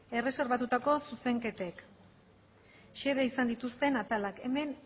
erreserbatutako zuzenketek xede izan dituzten atalak hemen